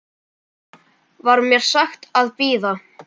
Var mér sagt að bíða.